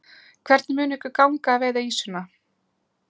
Lillý Valgerður Pétursdóttir: Hvernig mun ykkur ganga að veiða ýsuna?